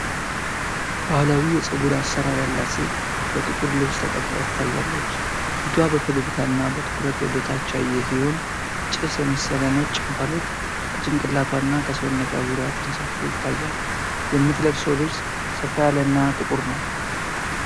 ባህላዊ የፀጉር አሰራር ያላት ሴት በጥቁር ልብስ ተቀምጣ ትታያለች። ፊቷ በፈገግታ እና በትኩረት ወደ ታች ያየ ሲሆን፣ ጭስ የመሰለ ነጭ እንፋሎት ከጭንቅላቷና ከሰውነቷ ዙሪያ ተንሳፎ ይታያል። የምትለብሰው ልብስ ሰፋ ያለና ጥቁር ነው።